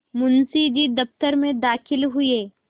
मुंशी जी दफ्तर में दाखिल हुए